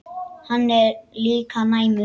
Hann er líka næmur.